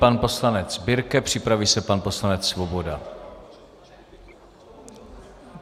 Pan poslanec Birke, připraví se pan poslanec Svoboda.